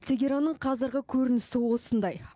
тегеранның қазіргі көрінісі осындай